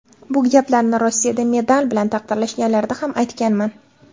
Bu gaplarni Rossiyada medal bilan taqdirlashganlarida ham aytganman.